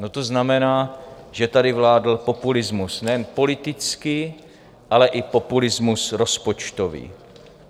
No to znamená, že tady vládl populismus nejen politický, ale i populismus rozpočtový.